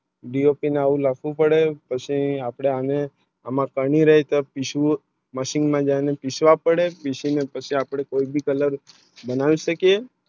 દિયો પિન આવી લાખું પડે પછી અપને હમને એમાં પાણી રહે થા પિસુ Machine ને મેં જાને પીસવા પડે પીસવા અને કોઈ ભી Colour બનાવી શકે